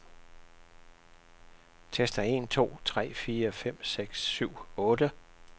Tester en to tre fire fem seks syv otte.